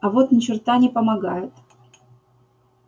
а вот ни черта не помогает